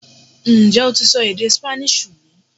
Ǹjẹ́ o ti sọ èdè Spanish rí